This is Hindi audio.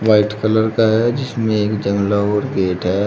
व्हाइट कलर का है जिसमें एक जंगला और गेट है।